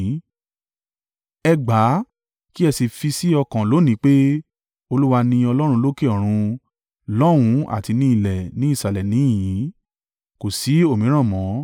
Ẹ gbà kí ẹ sì fi sọ́kàn lónìí pé Olúwa ni Ọlọ́run lókè ọ̀run lọ́hùn ún àti ní ilẹ̀ ní ìsàlẹ̀ níhìn-ín. Kò sí òmíràn mọ́.